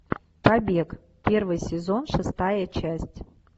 побег первый сезон шестая часть